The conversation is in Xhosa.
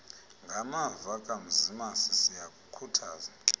ngamava kamzimasi siyakukhuthaza